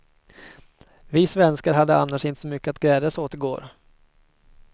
Vi svenskar hade annars inte så mycket att glädjas åt i går.